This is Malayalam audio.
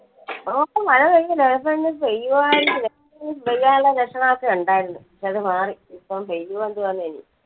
ഓ മഴ പെയ്തില്ല ചിലപ്പോ അങ്ങ് പെയ്യുവായിരിക്കും, പെയ്യുവാൻ ഉള്ള ലക്ഷണം ഒക്കെ ഉണ്ടായിരുന്നു, പക്ഷെ അത് മാറി. ഇപ്പൊ പെയ്യുവോ എന്തോ.